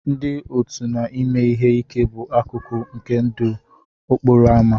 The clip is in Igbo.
Ndị òtù na ime ihe ike bụ akụkụ nke ndụ okporo ámá.